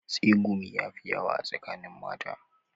Tsegumi ya fi yawa a tsakanin mata